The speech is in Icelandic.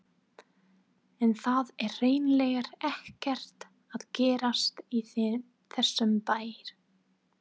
En það er hreinlega ekkert að gerast í þessum bæ.